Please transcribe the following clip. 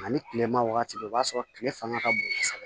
Ani tilema wagati bɛ yen o b'a sɔrɔ kile fanga ka bon kosɛbɛ